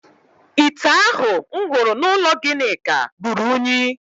Ite ahụ m hụrụ n’ụlọ Ginika ruru unyi